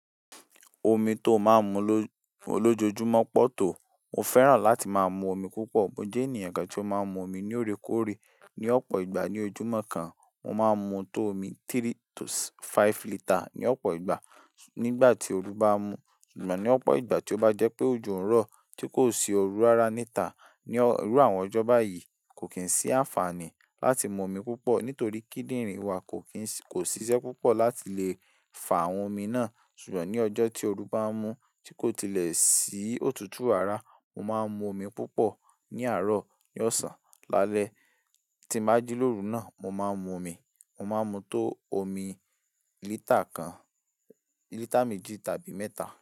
Omi tó máa ń mu ló, lójoojúmọ́ pọ̀ tó, mo fẹ́ràn láti máa mu omi púpọ̀. Mo jẹ́ ènìyàn kan tí ó máa ń mu omi ní loòrékóoré. Ni ọ̀pọ̀ ìgbà ní ojúmọ́ kan, mo máa ń mu tó omi three to five litre ní ọ̀pọ̀ ìgbà. Ni ìgbà tí ooru bá mú, ṣùgbọ́n ní ọ̀pọ̀ ìgbà tí ó bá jẹ́ pé òjò ń rọ̀ tí kò sí òru rara níta. Ní irú àwọn ọjọ́ báyìí kò kín sí àǹfààní láti mu omi púpọ̀ nítorí kíndìnrín wa kò kín sì kò ṣiṣẹ́ púpọ̀ láti lè fà àwọn omi náà. Ṣùgbọ́n ní ọjọ́ tí ooru bá mú tí kò tilẹ̀ sí òtútù ara, mo máa ń mu omi púpọ̀ ní àárọ̀, ní ọ̀sán, lálẹ́ tí má jí lóru náà, mo máa ń mu omi. Mo máa ń mu tó omi lítà kan, lítà méjì tàbí mẹ́ta.